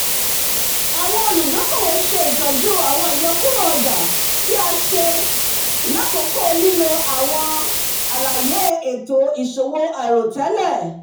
awọn oludokoowo ṣe itọju awọn iyọkuro ọja ti a ṣe itọju lakoko lilo awọn alaye eto iṣowo airotẹlẹ